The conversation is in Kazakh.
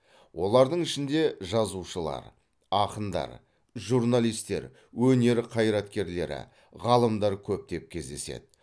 олардың ішінде жазушылар ақындар журналистер өнер қайраткерлері ғалымдар көптеп кездеседі